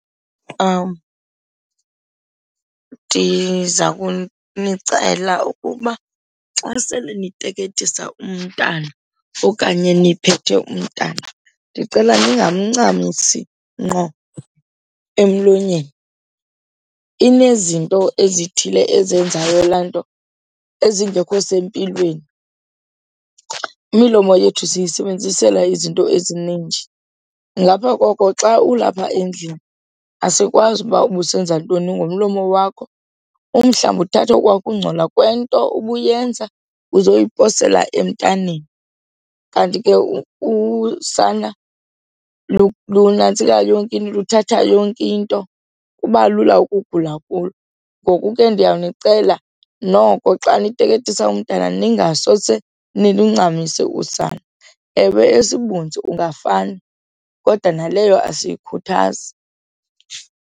Ndiza kunicela ukuba xa sele niteketisa umntana okanye niphethe umntana ndicela ningamncamisi ngqo emlonyeni, inezinto ezithile ezenzayo laa nto ezingekho sempilweni. Imilomo yethu siyisebenzisela izinto ezininji, ngapha koko xa ulapha endlini asikwazi ukuba ubusenza ntoni ngomlomo wakho, umhlawumbi uthathe okwaa kungcola kwento ubuyenza uzoyiposela emntaneni. Kanti ke usana lunantsika yonke into, luthatha yonke into, kuba lula ukugula kulo. Ngoku ke ndiyanicela noko xa niteketisa umntana ningasose niluncamise usana. Ewe, esibunzi ungafane kodwa naleyo asiyikhuthazi.